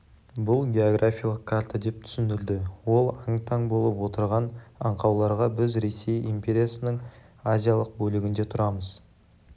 бұл географиялық карта деп түсіндірді ол аң-таң болып отырған аңқауларға біз ресей империясының азиялық бөлігінде тұрамыз